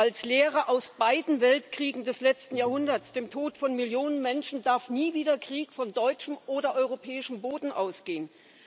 Als Lehre aus beiden Weltkriegen des letzten Jahrhunderts, dem Tod von Millionen Menschen, darf nie wieder Krieg von deutschem oder europäischem Boden ausgehen.